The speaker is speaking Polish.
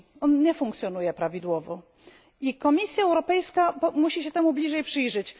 On nie funkcjonuje prawidłowo i Komisja Europejska musi się temu bliżej przyjrzeć.